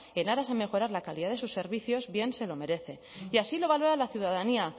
en aras a mejorar la calidad de sus servicios bien se lo merece y así lo valora la ciudadanía